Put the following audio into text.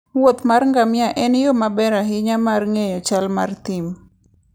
wuoth mar ngamia en yo maber ahinya mar ng'eyo chal mar thim.